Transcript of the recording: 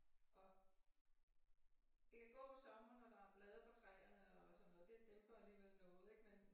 Og det kan gå om sommeren når der er blade på træerne og sådan noget det dæmper alligevel noget ik men